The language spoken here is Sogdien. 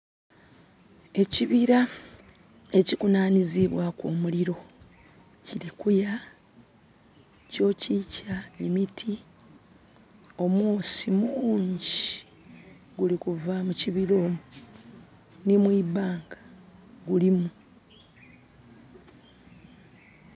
Ekibira ekikunhanhizibwaku omuliro, kiri kuya. Kyokyikya emiti. Omwoosi mungyi guli kuva mu kibira omwo. Nhi mu ibanga gulimu.